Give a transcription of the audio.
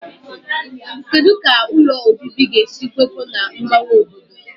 Kedu ka ụlọ obibi ga-esi kwekọọ na mgbanwe obodo?